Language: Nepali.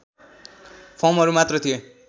फर्महरू मात्र थिए